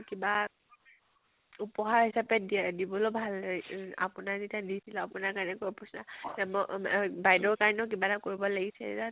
কিবা উপহাৰ হিছাপে দিয়া দিবলৈ ভাল এউ আপোনাক যেতিয়া দিছিলো, আপোনাৰ কেনেকুৱা বাইদেউৰ কাৰণেও কিবা এটা কৰিব লাগিছিল